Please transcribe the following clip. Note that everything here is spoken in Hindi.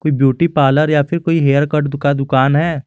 ये ब्यूटी पार्लर या फिर कोई हेयरकट का दुकान है।